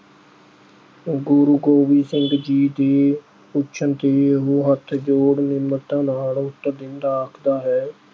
ਗੁਰੂ ਗੋਬਿੰਦ ਸਿੰਘ ਜੀ ਦੇ ਪੁੱਛਣ ਤੇ ਉਹ ਹੱਥ ਜੋੜ ਨਿਮਰਤਾ ਨਾਲ ਉੱਤਰ ਦਿੰਦਾ ਆਖਦਾ ਹੈ।